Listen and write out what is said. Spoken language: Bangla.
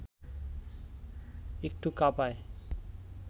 একটু কাঁপায়